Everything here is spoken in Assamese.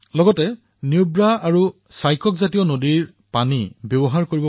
লগতে তেওঁলোকে নুব্ৰা আৰু শ্বয়কৰ দৰে নদীৰ পানীও ব্যৱহাৰ কৰে